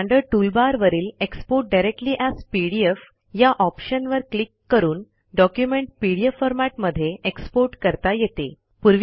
standard toolbar वरील export directly as PDF या ऑप्शनवर क्लिक करून डॉक्युमेंट पीडीएफ फॉरमॅट मध्ये एक्सपोर्ट करता येते